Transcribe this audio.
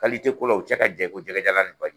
ko la, u cɛ ka jan i ko jɛkɛ jalan ni baji.